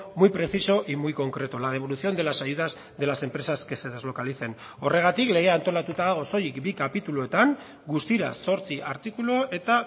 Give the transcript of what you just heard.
muy preciso y muy concreto la devolución de las ayudas de las empresas que se deslocalicen horregatik legea antolatuta dago soilik bi kapituluetan guztira zortzi artikulu eta